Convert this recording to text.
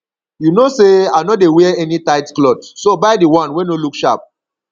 you no say i no dey wear any tight cloth so buy the wan wey no look sharp